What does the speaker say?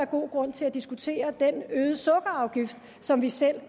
god grund til at diskutere den øgede sukkerafgift som vi selv